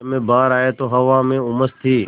जब मैं बाहर आया तो हवा में उमस थी